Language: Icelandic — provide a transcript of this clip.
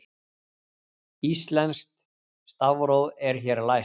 Íslenskt stafróf er hér læst